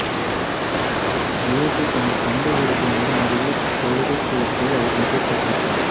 இயேசு தமது சொந்த ஊருக்கு வந்து அங்குள்ள தொழுகைக் கூடத்தில் அவர்களுக்குக் கற்பித்தார்